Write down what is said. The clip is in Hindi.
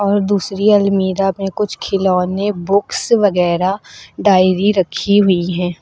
और दूसरी अलमीरा में कुछ खिलौने बुक्स वगैरा डायरी रखी हुई है।